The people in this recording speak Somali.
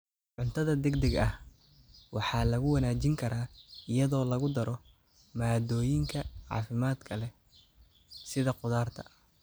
Cuntada degdega ah waxaa lagu wanaajin karaa iyadoo lagu daro maaddooyinka caafimaadka leh sida khudaarta.